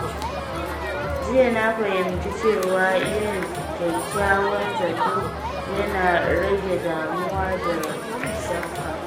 Jiya na fahimci cewa yin kyakkyawan zato yana rage damuwa da shakka.